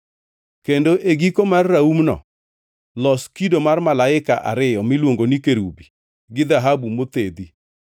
Kendo e giko mar raumno los kido mar malaika ariyo miluongo ni kerubi gi dhahabu mothedhi.